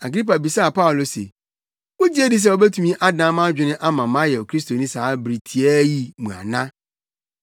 Agripa bisaa Paulo se, “Wugye di sɛ wubetumi adan mʼadwene ama mayɛ Kristoni saa bere tiaa yi mu ana?”